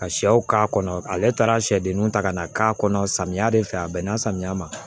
Ka sɛw k'a kɔnɔ ale taara sɛdenw ta ka na k'a kɔnɔ samiya de fɛ a bɛnna samiya ma